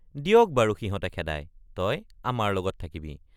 দিয়ক বাৰু সিহঁতে খেদাই তই আমাৰ লগত থাকিবি।